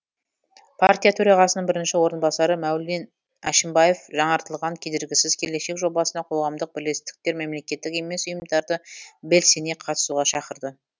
партия төрағасының бірінші орынбасары мәулен әшімбаев жаңартылған кедергісіз келешек жобасына қоғамдық бірлестіктер мемлекеттік емес ұйымдарды белсене қатысуға шақырды